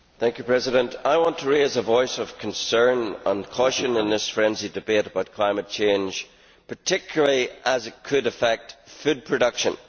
Mr President, I want to raise a voice of concern and caution in this frenzied debate about climate change, particularly as it could affect food production.